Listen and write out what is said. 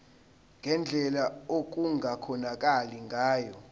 ngendlela okungakhonakala ngayo